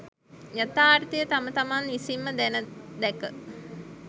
යථාර්ථය තම තමන් විසින්ම දැන දැක